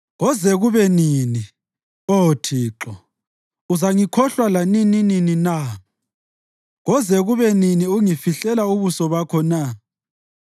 Koze kube nini, Oh Thixo? Uzangikhohlwa lanininini na? Koze kube nini ungifihlela ubuso bakho na?